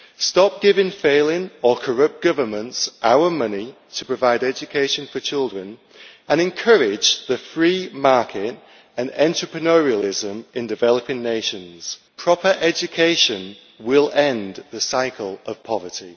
Stop giving failing or corrupt governments our money to provide education for children and encourage the free market and entrepreneurialism in developing nations. Proper education will end the cycle of poverty.